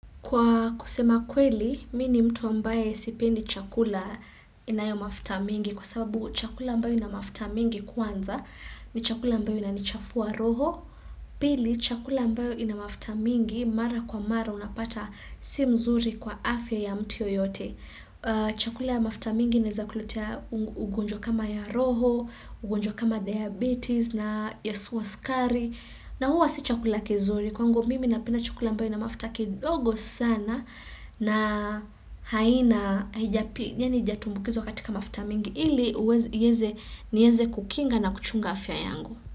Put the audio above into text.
Kwa kusema kweli, mi ni mtu ambaye sipendi chakula inayo mafuta mingi kwa sababu chakula ambayo ina mafuta mingi kwanza ni chakula ambayo inanichafua roho. Pili, chakula ambayo ina mafuta mingi mara kwa mara unapata si mzuri kwa afya ya mtu yeyote. Chakula ya mafuta mingi inaeza kulutea ugunjwa kama ya roho, ugunjo kama diabetes na ya wa sukari. Na huwa si chakula kizuri kwangu mimi napina chukula mbaye na mafuta kidogo sana na haina jani hijatumbukizo katika mafuta mingi ili uweze nieze kukinga na kuchunga afya yangu.